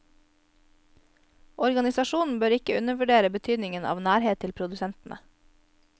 Organisasjonen bør ikke undervurdere betydningen av nærhet til produsentene.